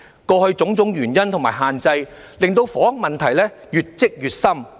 過去種種原因和限制，令房屋問題越積越深。